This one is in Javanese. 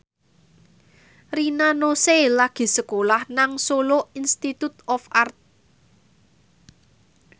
Rina Nose lagi sekolah nang Solo Institute of Art